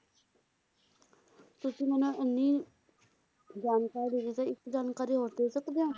ਤੁਸੀਂ ਮੈਨੂੰ ਇੰਨੀ ਜਾਣਕਾਰੀ ਦਿੱਤੀ ਤੇ ਇੱਕ ਜਾਣਕਾਰੀ ਹੋਰ ਦੇ ਸਕਦੇ ਹੋ?